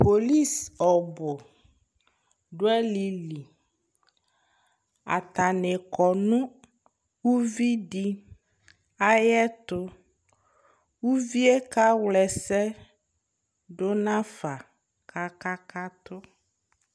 Polisi ɔbʋ dʋ alɩli Atanɩ kɔ nʋ uvi dɩ ayɛtʋ Uvi yɛ kawla ɛsɛ dʋ nafa kʋ akakatʋ